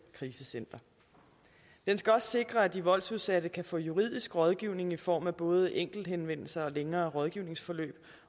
krisecenter den skal også sikre at de voldsudsatte kan få juridisk rådgivning i form af både enkelthenvendelser og længere rådgivningsforløb